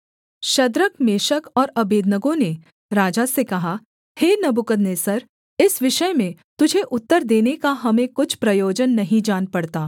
Shadrach Meshach और Abednego ने राजा से कहा हे नबूकदनेस्सर इस विषय में तुझे उत्तर देने का हमें कुछ प्रयोजन नहीं जान पड़ता